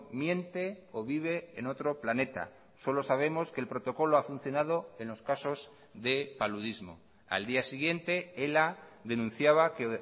miente o vive en otro planeta solo sabemos que el protocolo ha funcionado en los casos de paludismo al día siguiente ela denunciaba que